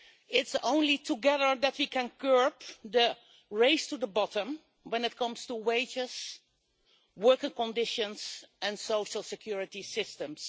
It is only together that we can curb the race to the bottom when it comes to wages, working conditions and social security systems.